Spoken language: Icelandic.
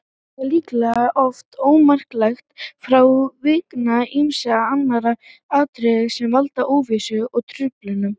Það er líklega oft ómarktækt frávik vegna ýmissa annarra atriða sem valda óvissu og truflunum.